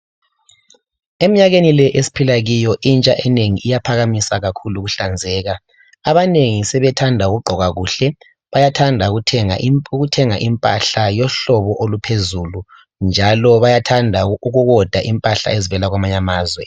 Eminyakeni le esiphila kiyo intsha enengi iyaphakamisa kakhulu ukuhlanzeka abanengi sebethanda ukugqoka kuhle bayathanda ukuthenga impahla yohlobo oluphezulu njalo bayathanda ukiwoda impahla ezivela kwamanye amazwe